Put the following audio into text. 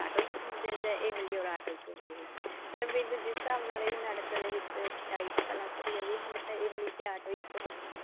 ਇੱਕ ਹੁੰਦੇ ਏ ਜਾਂ ਇਮਲੀ or ਆਟੋ ਇੱਕ ਹੁੰਦੇ ਏ ਪਰ ਮੈਨੂੰ ਜਿਸ ਹਿਸਾਬ ਨਾਲ ਇਸ ਨਾਟਕ ਦੇ ਵਿੱਚ ਸਚਾਈ ਪਤਾ ਲੱਗ ਰਹੀ ਹੈ ਵੀ ਹੁਣ ਤਾਂ ਇਮਲੀ ਤੇ ਆਟੋ ਇੱਕ ਹੋਣਗੇ